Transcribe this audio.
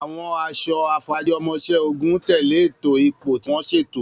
Àwọn aṣọ afarajiomoiseogun tẹ̀lé ètò ipò tí wọ́n ṣètò.